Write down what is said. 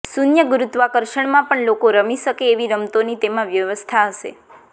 શૂન્ય ગુરૂત્વાકર્ષણમાં પણ લોકો રમી શકે એવી રમતોની તેમાં વ્યવસ્થા હશે